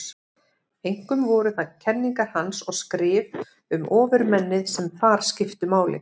Einkum voru það kenningar hans og skrif um ofurmennið sem þar skiptu máli.